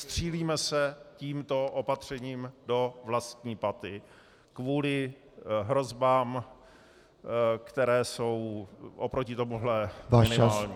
Střílíme se tímto opatřením do vlastní paty kvůli hrozbám, které jsou oproti tomuhle minimální.